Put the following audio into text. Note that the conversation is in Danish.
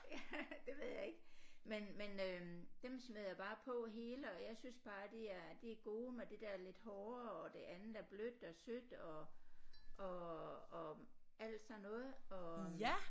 Ja det ved jeg ikke men men øh dem smider jeg bare på hele og jeg synes bare det er det er gode med det der lidt hårde og det andet er blødt og sødt og og og alt sådan noget og